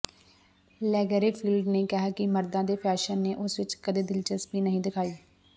Lagerfeld ਨੇ ਕਿਹਾ ਕਿ ਮਰਦਾਂ ਦੇ ਫੈਸ਼ਨ ਨੇ ਉਸ ਵਿਚ ਕਦੇ ਦਿਲਚਸਪੀ ਨਹੀਂ ਦਿਖਾਈ